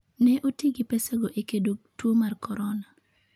Ne oti gi pesago e kedo tuo mar corona.